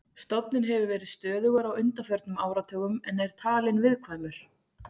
Stofninn hefur verið stöðugur á undanförnum áratugum en er talinn viðkvæmur.